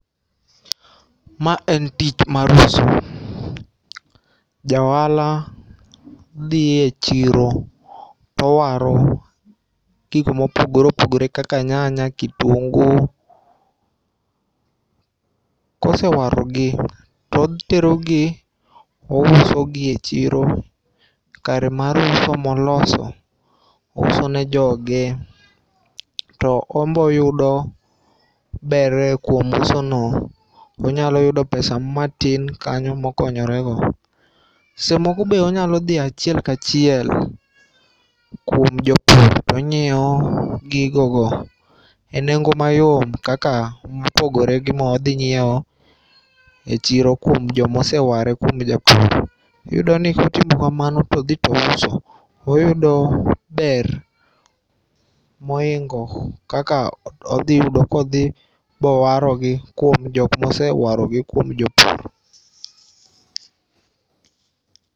Ma en tich mar uso. Jaohala dhie chiro towaro gikmopogore opogore kaka nyanya ,kitungu. Kosewarogi toterogi, ousogi e chiro kare mar uso moloso .Ouso ne joge to ombo oyudo ber kuom usono. Onyalo yudo pesa matin kanyo mokonyorego. Sesemoko be onyalodhi achiel kachiel kuom jopur tonyieo gigogo e nengo mayom kaka mopogore gi modhinyieo e chiro kuom jomoseware kuom japur. Iyudoni kotimo kamano todhi touso oyudo ber moingo kaka odhiyudo kodhi bowarogi kuom jokmosewarogi kuom jopur.